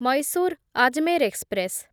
Mysore Ajmer express